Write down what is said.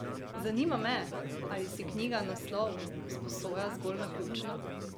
Zanima me, ali si knjiga naslov sposoja zgolj naključno?